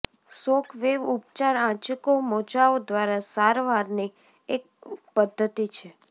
shockwave ઉપચાર આંચકો મોજાઓ દ્વારા સારવારની એક પદ્ધતિ છે